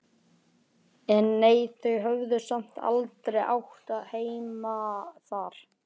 En nei, þau höfðu samt aldrei átt heima þar.